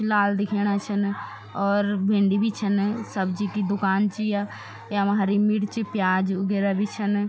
लाल दिखेणा छन और भिन्डी भी छन सब्जी की दूकान च या यमा हरी मिर्च प्याज उगेरा भी छन।